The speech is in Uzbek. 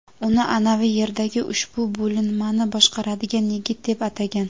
uni "anavi yerdagi ushbu bo‘linmani boshqaradigan yigit" deb atagan.